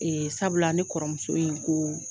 Ee sabula ne kɔrɔmuso in ko